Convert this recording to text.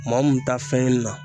Maa mun ta fɛn in na